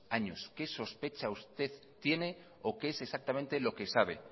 años qué sospechas usted tiene o qué es exactamente lo que sabe